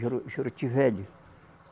Juru Juruti Velho